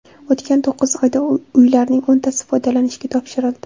O‘tgan to‘qqiz oyda uylarning o‘ntasi foydalanishga topshirildi.